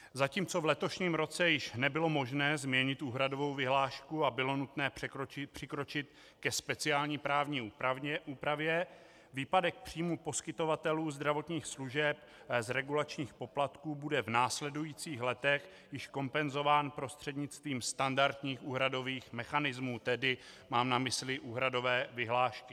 Zatímco v letošním roce již nebylo možné změnit úhradovou vyhlášku a bylo nutné přikročit ke speciální právní úpravě, výpadek příjmů poskytovatelů zdravotních služeb z regulačních poplatků bude v následujících letech již kompenzován prostřednictvím standardních úhradových mechanismů, tedy mám na mysli úhradové vyhlášky.